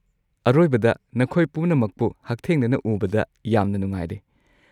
ꯑꯔꯣꯏꯕꯗ ꯅꯈꯣꯏ ꯄꯨꯝꯅꯃꯛꯄꯨ ꯍꯛꯊꯦꯡꯅꯅ ꯎꯕꯗ ꯌꯥꯝꯅ ꯅꯨꯡꯉꯥꯏꯔꯦ꯫